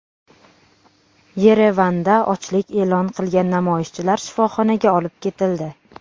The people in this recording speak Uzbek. Yerevanda ochlik e’lon qilgan namoyishchilar shifoxonaga olib ketildi.